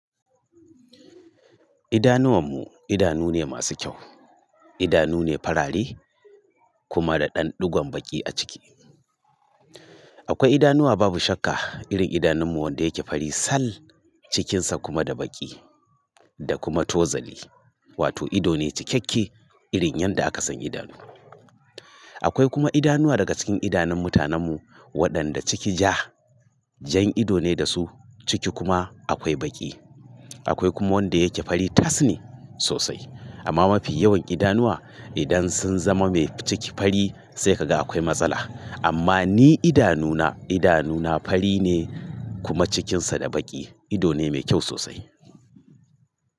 Idanuwanmu idanu ne masu kyau, idanu ne farare kuma da ɗan ɗigon baƙi a ciki. Akwai idanuwa babu shakka irin idanunmu wanda yake fari sal cikinsa kuma da baƙi da kuma tozali, wato ido ne cikakke irin yadda aka san idanu. Akwai kuma idanuwa daga cikin idanun mutanenmu waɗanda ciki ja, jan ido ne da su ciki kuma akwai baƙi. Akwai kuma wanda yake fari tas ne sosai. Amma mafi yawan idanuwa idan sun zama mai ciki fari sai ka ga akwai matsala. Amma ni idanuna, idanuna fari ne kuma cikinsa da baƙi, ido ne mai kyau sosai.